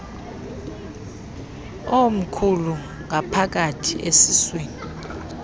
omkhulu ngaphakathi esiswini